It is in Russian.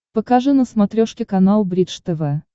покажи на смотрешке канал бридж тв